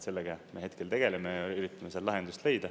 Sellega me hetkel tegeleme, üritame seal lahendust leida.